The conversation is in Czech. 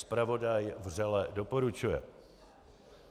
Zpravodaj vřele doporučuje.